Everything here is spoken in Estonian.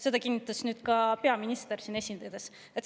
Seda kinnitas nüüd ka peaminister siin esinedes.